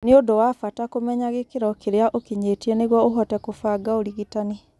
Ni ũndũ wa bata kũmenya gĩkĩro kĩrĩa ũkinyĩte nĩguo ũhote kũbanga ũrigitani .